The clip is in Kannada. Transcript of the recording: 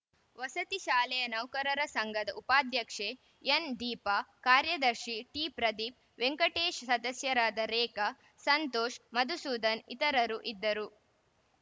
ವಸತಿ ಶಾಲೆಯ ನೌಕರರ ಸಂಘದ ಉಪಾಧ್ಯಕ್ಷೆ ಎನ್‌ದೀಪ ಕಾರ್ಯದರ್ಶಿ ಟಿಪ್ರದೀಪ್‌ ವೆಂಕಟೇಶ್‌ ಸದಸ್ಯರಾದ ರೇಖಾ ಸಂತೋಷ್‌ ಮಧುಸೂದನ್‌ ಇತರರು ಇದ್ದರು